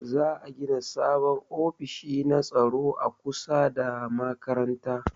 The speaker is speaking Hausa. Za'a gina sabon ofishi na tsaro a kusa da kofar makaranta